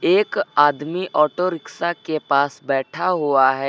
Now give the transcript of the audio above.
एक आदमी auto rickshaw के पास बैठा हुआ है।